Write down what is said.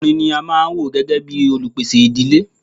Ọkùnrin ní a máà wò gbẹ́gẹ́ bìí olupèsè ìdílé.